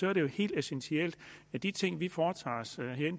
er det jo helt essentielt at de ting vi foretager os